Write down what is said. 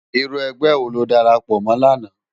Irú ègbè wó ló dàrápò mò làná?